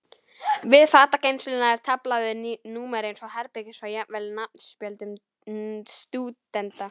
Við fatageymsluna er tafla með númeri hvers herbergis og jafnvel nafnspjöldum stúdenta.